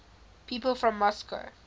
people from moscow